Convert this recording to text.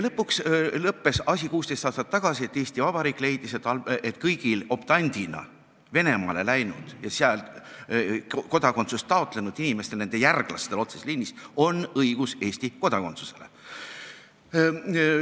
Lõpuks lõppes asi 16 aastat tagasi nii, et Eesti Vabariik leidis, et kõigi optandina Venemaale läinud ja seal kodakondsust taotlenud inimeste järglastel otseses liinis on õigus Eesti kodakondsusele.